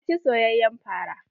Na ci soyayen fara.